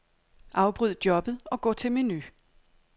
Afbryd jobbet og gå til menu.